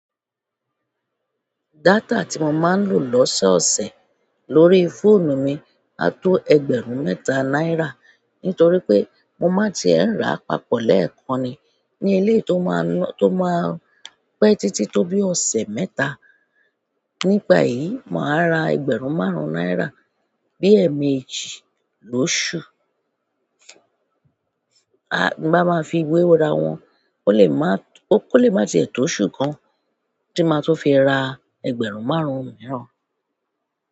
Data tí mo máa ń lò lọ́sẹ̀ ọ̀sẹ̀ lórí fóònù mi á tó ẹgbẹ̀rún mẹ́ta náírà nítorí pé mo máa tiẹ̀ ń ra papọ̀ lẹ́ẹ̀kan ni ní eléyi tó máa ń to ma n pẹ́ títí tó bí ọ̀sẹ̀ mẹ́ta. Nípa èyí, màá ra ẹgbẹ̀rún márùn-ún náírà bi ẹmeji lóṣù. Bí mbá máa fi gbéruwa wọn, ó lè má tiẹ̀ tó oṣù kan tí máa tun fi ra ẹgbẹ̀rún márùn-ún mìíràn.